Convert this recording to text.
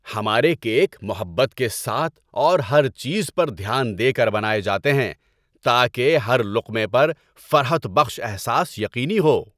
ہمارے کیک محبت کے ساتھ اور ہر چیز پر دھیان دے کر بنائے جاتے ہیں تاکہ ہر لقمے پر فرحت بخش احساس یقینی ہو۔